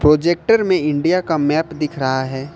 Projector में India का map दिख रहा हैं।